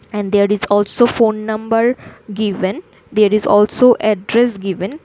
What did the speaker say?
And there is also phone number given there is also address given.